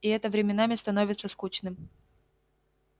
и это временами становится скучным